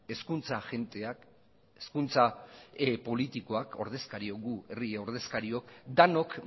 hezkuntza agenteak hezkuntza politikoak ordezkariok gu herri ordezkariok denok